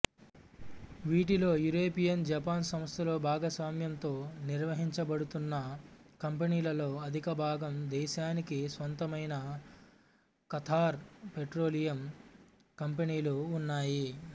వీటిలో European Japan సంస్థలు భాగస్వామ్యంతో నిర్వహించబడుతున్న కంపెనీలలో అధికభాగం దేశానికి స్వంతమైన ఖతార్ పెట్రోలియం కంపెనీలు ఉన్నాయి